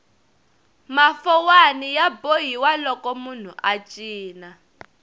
mafowani ya bohiwa loko munhu a cina